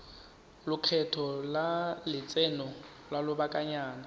lekgetho la lotseno lwa lobakanyana